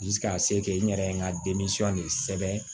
ka se kɛ n yɛrɛ ye n ka de sɛbɛn